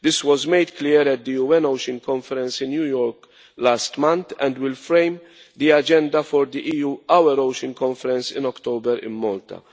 This was made clear at the UN Ocean Conference in New York last month and will frame the agenda for the EU Our Ocean Conference in October in Malta.